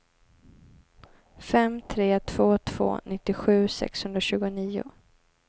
fem tre två två nittiosju sexhundratjugonio